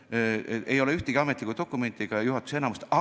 Selle kohta ei ole ühtegi ametlikku dokumenti ega juhatuse enamuse otsust.